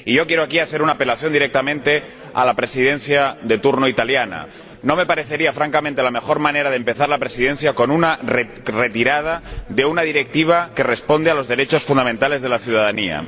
Quiero apelar directamente a la Presidencia de turno italiana no me parecería, francamente, la mejor manera de empezar la Presidencia con la retirada de una directiva que responde a los derechos fundamentales de la ciudadanía.